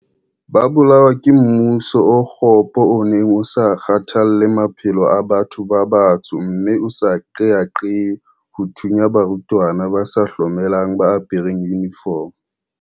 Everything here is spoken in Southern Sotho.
Ba bolawa ke mmuso o kgopo o neng o sa kgathalle maphelo a batho ba batsho mme o sa qeaqee ho thunya barutwana ba sa hlomelang ba apereng yunifomo.